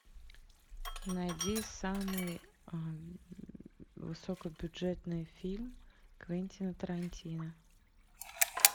найди самый высокобюджетный фильм квентина тарантино